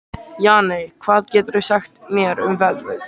Jane, hvað geturðu sagt mér um veðrið?